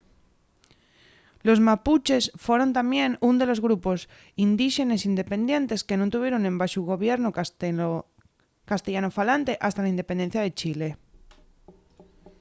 los mapuches foron tamién ún de los últimos grupos indíxenes independientes que nun tuvieron embaxo gobiernu castellanofalante hasta la independencia de chile